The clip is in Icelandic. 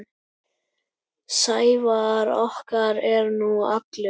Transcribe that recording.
Sævar okkar er nú allur.